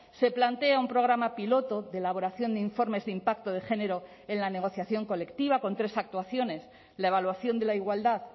se plantea un programa piloto de elaboración de informes de impacto de género en la negociación colectiva con tres actuaciones la evaluación de la igualdad